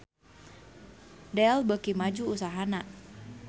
Dell beuki maju usahana